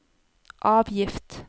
avgift